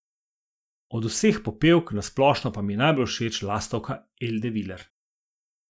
Od vseh popevk na splošno mi je pa najbolj všeč Lastovka Elde Viler.